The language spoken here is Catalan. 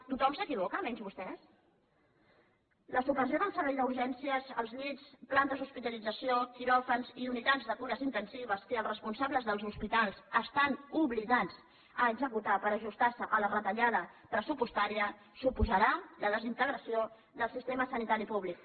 tothom s’equivoca menys vostè la supressió del servei d’urgències els llits plantes d’hospitalització quiròfans i unitats de cures intensives que els responsables dels hospitals estan obligats a executar per ajustar se a la retallada pressupostària suposarà la desintegració del sistema sanitari públic